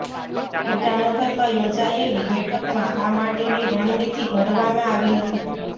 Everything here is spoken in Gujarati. ઈટાનગરમાં યોજાયેલી બેઠકમાં આ માટેની રણનીતિ ઘડવામાં આવી હતી